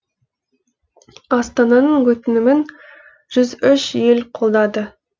астананың өтінімін жүз үш ел қолдады